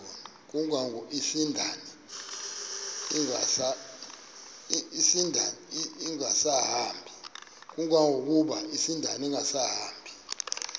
kangangokuba isindane ingasahambi